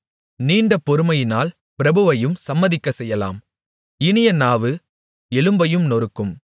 நீண்ட பொறுமையினால் பிரபுவையும் சம்மதிக்கச்செய்யலாம் இனிய நாவு எலும்பையும் நொறுக்கும்